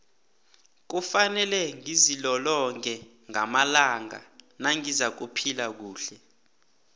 kufanele ngizilolonge ngamalanga nangizakuphila kuhle